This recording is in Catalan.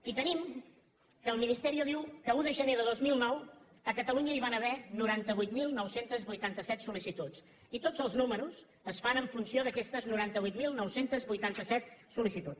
i tenim que el ministerio diu que a un de gener de dos mil nou a catalunya hi van haver noranta vuit mil nou cents i vuitanta set sol·licituds i tots els números es fan en funció d’aquestes noranta vuit mil nou cents i vuitanta set sollicituds